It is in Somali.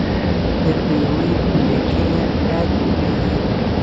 Derbiga weyn ee Kenya aad buu u dheer yahay